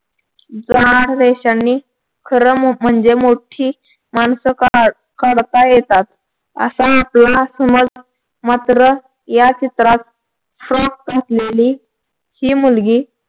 जाड रेषांनी खरं म्हणजे मोठी माणसं काढ काढता येतात असा आपला समज मात्र या चित्रात socks घातलेली ही मुलगी